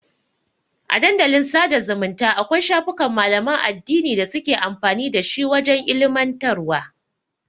A Dandalin sada zumunta Akwai shafukan malaman addini da suke amfani dashi wajan ilimantarwa